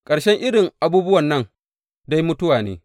Ƙarshen irin abubuwan nan dai, mutuwa ne!